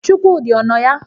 Chukwudị a nọ ya?